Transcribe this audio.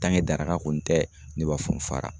daraka kɔni tɛ ne b'a fɔ n fara.